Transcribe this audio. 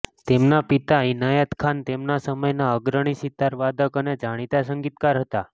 તેમના પિતા ઈનાયત ખાન તેમના સમયના અગ્રણી સિતારવાદક અને જાણીતા સંગીતકાર હતા